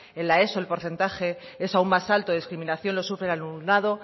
en la eso el porcentaje es aún más alto la discriminación lo sufre un alumnado